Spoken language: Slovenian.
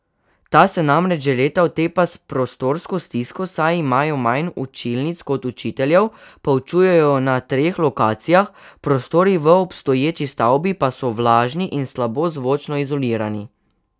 Ta se namreč že leta otepa s prostorsko stisko, saj imajo manj učilnic kot učiteljev, poučujejo na treh lokacijah, prostori v obstoječi stavbi pa so vlažni in slabo zvočno izolirani.